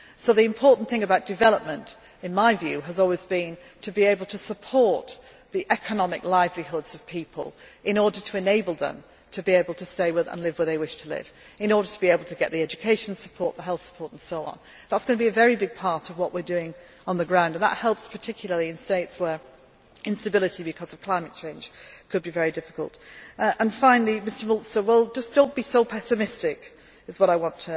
up. So the important thing about development, in my view, has always been to be able to support the economic livelihoods of people in order to enable them to be able to stay and live where they wish to live in order to be able to get the educational support, the health support and so on. That is going to be a very big part of what we are doing on the ground, and that helps particularly in states where instability, because of climate change, could be very difficult. Finally, Mr Mölzer, do not be so pessimistic, is what